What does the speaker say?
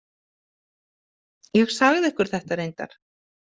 Ég sagði ykkur þetta reyndar.